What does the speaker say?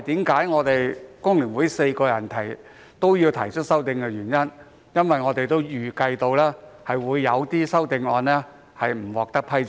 工聯會4位議員均有提出修正案，原因是我們預計其中一些修正案未能獲得批准。